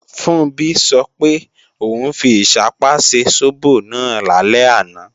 Funbí sọ pé, òun fi ìṣápá ṣe sóbò náà lálẹ́ àná